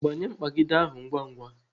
Gbanye mkpagide ahụ ngwa ngwa